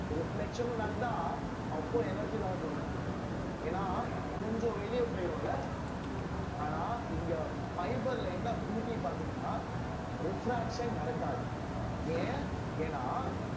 reflection ம் நடந்தா அப்போ energy loss இருக்கும் ஏன்னா கொஞ்சம் வெளியே போயிரும்ல ஆனா இங்கே fibre ல என்ன beauty பார்த்தீங்கன்னா refraction நடக்காது ஏன் ஏன்னா